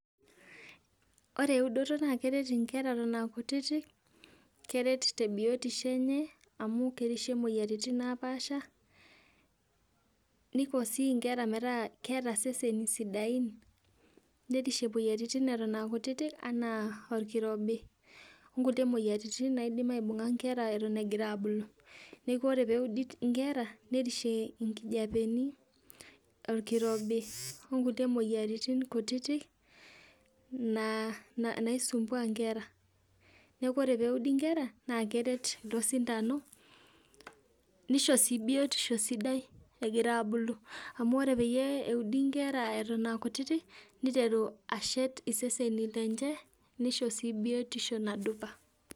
Ore eudoto na keret inkera eton akutitik, keret tebiotisho enye amu kereshie moyiaritin napaasha, niko si nkera metaa keeta seseni sidain, nerishie moyiaritin eton akutitik enaa orkirobi, onkulie moyiaritin naidim aibung'a nkera eton egira abulu. Neeku ore peudi inkera, nirishie nkijapeni, orkirobi, onkulie moyiaritin kutitik, naa naisumbua nkera. Neeku ore peudi nkera, nakeret ilo sindano nisho si biotisho sidai egira abulu. Amu ore peyie eudi nkera eton akutitik, neteru ashet iseseni lenche, nisho si biotisho nasipa.